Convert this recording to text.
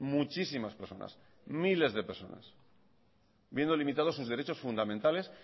muchísimas personas miles de personas viendo limitados sus derechos fundamentales